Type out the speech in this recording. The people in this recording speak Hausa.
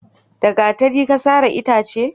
da gatari Ka sare itace?